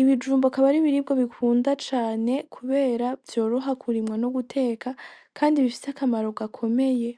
ibijumbu bikaba ari ibiribwa bikundwa cane kubera vyoroha kurimwa no guteka kandi bifise akamaro gakomeye.